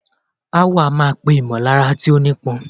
Aáwọ̀ a máa pè ìmọ̀lára tí ó nípọn.